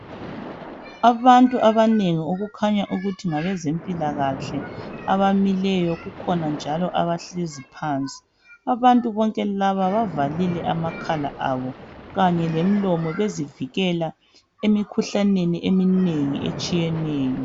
Abantu abanengi okukhanya ukuthi ngabezempilakahle bamile kukhona labahlezi phansi. Abantu bonke laba bazivale amakhala lemilomo ukuze bavikeleke emikhuhlaneni etshiyeneyo.